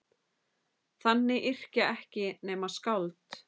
Þannig yrkja ekki nema skáld!